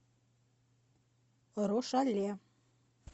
рошале